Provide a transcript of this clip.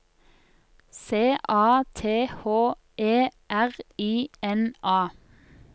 C A T H E R I N A